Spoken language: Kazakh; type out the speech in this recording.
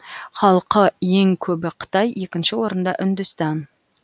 халқы ең көбі қытай екінші орында үндістан